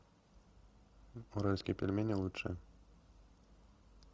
уральские пельмени лучшее